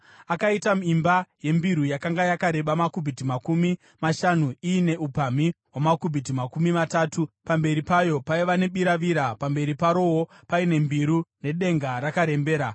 Akaita imba yembiru yakanga yakareba makubhiti makumi mashanu iine upamhi hwamakubhiti makumi matatu . Pamberi payo paiva nebiravira, pamberi parowo paine mbiru nedenga rakarembera.